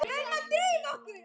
Enginn fær því breytt.